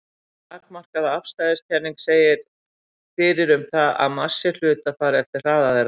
Takmarkaða afstæðiskenningin segir fyrir um það að massi hluta fari eftir hraða þeirra.